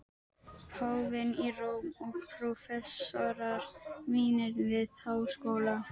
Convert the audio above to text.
Steinarnir töluðu og vatnið í bæjarlæknum var lifandi.